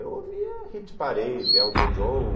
Eu ouvia Hit Parade, Elton John...